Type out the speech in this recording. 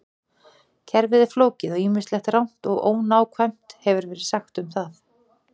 Kerfið er flókið og ýmislegt rangt og ónákvæmt hefur verið sagt um það.